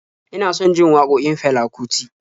Ina son jin waƙokin Fela Kuti